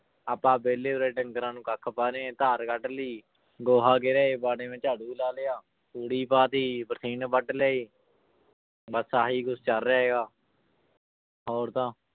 ਆਪਾਂ ਵਿਹਲੇ ਉਰੇ ਡੰਗਰਾਂ ਨੂੰ ਕੱਖ ਪਾ ਰਹੇ ਹਾਂ ਧਾਰ ਕੱਢ ਲਈ ਗੋਹਾ ਗਿਰੇ ਵਾੜੇ ਮੇ ਝਾੜੂ ਲਾ ਲਿਆ, ਤੂੜੀ ਪਾ ਦਿੱਤੀ ਬਰਸੀਨ ਵੱਢ ਲਈ ਬਸ ਆਹੀ ਕੁਛ ਚੱਲ ਰਿਹਾ ਹੈਗਾ ਹੋਰ ਤਾਂ